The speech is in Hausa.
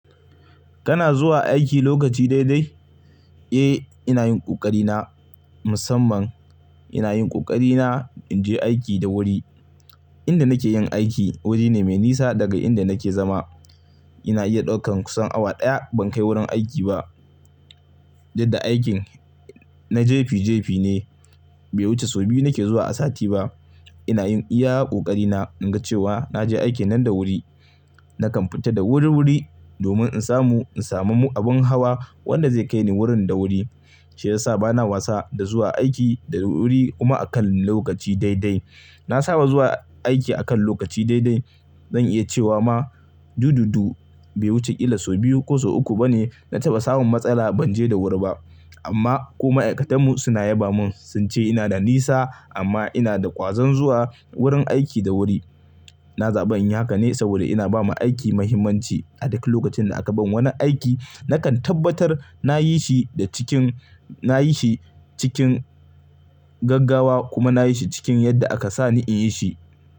Kana zuwa aiki lokaci daidai? Eh, ina yin ƙoƙari na musamman. Ina yin ƙoƙari na in je aiki da wuri. Inda nake yin aiki wuri ne mai nisa daga inda nake zama. Ina iya ɗaukan kusan awa ɗaya ban kai wurin aiki ba. Yadda aikin na jefi jefi ne, bai wuce sau biyu nake zuwa a sati ba. Ina iya ƙoƙari na in ga cewa na je aiki nan da wuri. Nakan fita da wuri-wuri domin in samu, in samu abin hawa wanda zai kai ni wurin da wuri. Shi ya sa bana wasa da zuwa aiki da wuri kuma a kan lokaci daidai. Na saba zuwa aiki a kan lokaci daidai. Zan iya cewa ma, du-du-du bai wuce kila sau biyu ko sau uku ba ne na taba samun matsala ban je da wuri ba. Amma ko ma'aikatan mu suna yaba mun sun ce ina da nisa amma ina da ƙwazon zuwa wurin aiki da wuri. Na zaɓi in yi haka ne saboda ina ba ma aiki mahimmanci. A duka lokacin da aka bani wani aiki nakan tabbatar na yi shi da cikin, na yi shi cikin gaggawa kuma na yi shi cikin yadda aka sani in yi shi.